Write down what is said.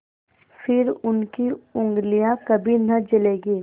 फिर उनकी उँगलियाँ कभी न जलेंगी